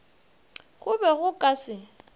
go be go ka se